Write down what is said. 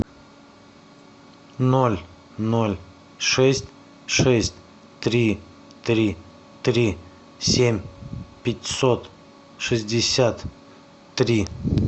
ноль ноль шесть шесть три три три семь пятьсот шестьдесят три